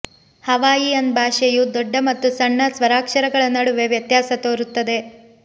Hawaiian ಭಾಷೆಯು ದೊಡ್ಡ ಮತ್ತು ಸಣ್ಣ ಸ್ವರಾಕ್ಷರಗಳ ನಡುವೆ ವ್ಯತ್ಯಾಸ ತೋರುತ್ತದೆ